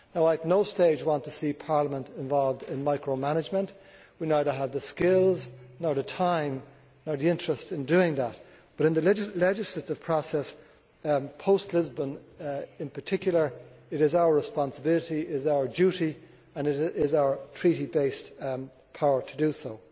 At no stage do I want to see Parliament involved in micro management we have neither the skills nor the time nor the interest in doing that, but in the legislative process post Lisbon in particular it is our responsibility, it is our duty and it is our Treaty based power to do so.